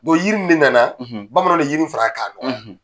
O yiri in ne na na bamananw le yiri in fara k'a dɔgɔya.